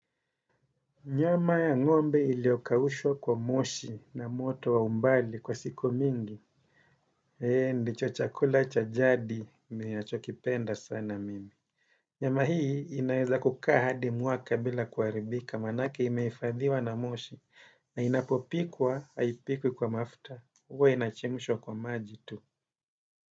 Nyama ya ng'ombe iliokaushwa kwa moshi na moto wa umbali kwa siku mingi. Ee, ndicho chakula cha jadi, ninachokipenda sana mimi. Nyama hii inaeza kukaa hadi mwaka bila kuharibika, maanake imefadhiwa na moshi, na inapopikwa, haipikwi kwa mafta. Huwa inachemshwa kwa maji tu.